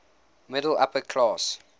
upper middle class